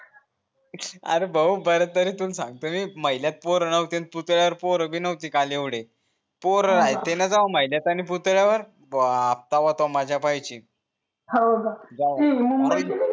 R भाऊ बर तरी तुम्ही महिलात पोर नवते पोर भी नवते काल एवढे बाप्पा बाप्पा मजा पायची होका